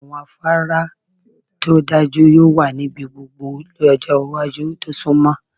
Awọn afara ti o daduro yoo wa nibi gbogbo ni ọjọ iwaju to sunmọ